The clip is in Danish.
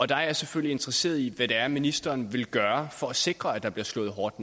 der er jeg selvfølgelig interesseret i hvad det er ministeren vil gøre for at sikre at der bliver slået hårdt